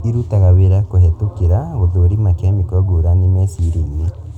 irutaga wĩra kũhĩtũkĩra gũthũrima kemiko ngũrani meciria-inĩ